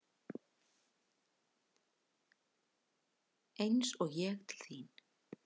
Eins og ég til þín?